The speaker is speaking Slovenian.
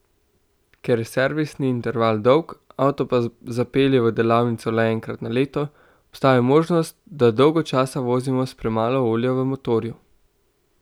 Ker je servisni interval dolg, avto pa zapelje v delavnico le enkrat na leto, obstaja možnost, da dolgo časa vozimo s premalo olja v motorju.